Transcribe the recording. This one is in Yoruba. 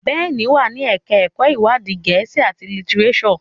Ben wá ní ẹka ẹkọ iwadi Gèésì at litireso.